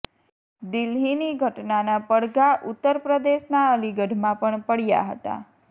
દિલ્હીની ઘટનાના પડઘા ઉત્તર પ્રદેશના અલીગઢમાં પણ પડ્યા હતા